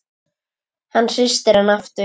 Hann hristir hana aftur.